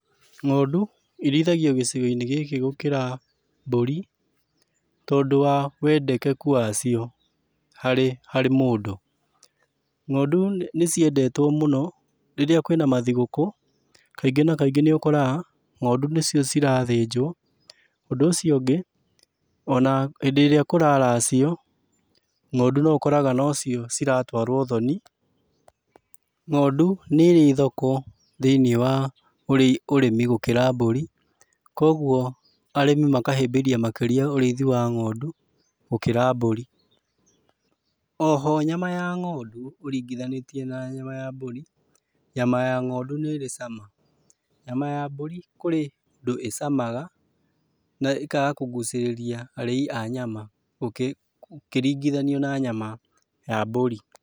Ng'ondu irĩithagio gĩcigo-inĩ gĩkĩ gũkĩra mbũri tondũ wa wendekeku wacio harĩ harĩ mũndũ. Ng'ondũ nĩciendetwo mũno rĩrĩa kwĩ na mathigũkũ kaingĩ na kaingĩ nĩ ũkoraga ng'ondũ nĩcio cirathĩnjwo. Ũndũ ũcio ũngĩ o na hĩndĩ ĩrĩa kũraracio, ng'ondu no ũkoraga nocio ciratwarwo ũthoni. Ng'ondu nĩ ĩrĩ thoko thĩiniĩ wa ũrĩmi gũkĩra mbũri kogwo arĩmi makahĩbĩria makĩria ũrĩithia wa ng'ondũ gũkĩra mbũri. O ho nyama ya ng'ondu ũringithanĩtie na nyama ya mbũri, nyama ya ng'ondu nĩ ĩrĩ cama. Nyama ya mbũri kũrĩ ũndũ ĩ camaga na ĩkaga kũgucĩrĩria arĩi a nyama ũkĩringithanio na nyama ya mbũri.